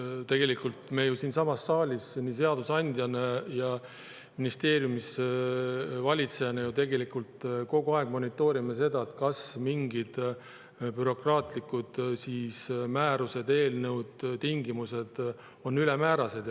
Tegelikult me ju siinsamas saalis nii seadusandjana kui ka ministeeriumis valitsejana kogu aeg monitoorime seda, kas mingid bürokraatlikud määrused, eelnõud, tingimused on ülemäärased.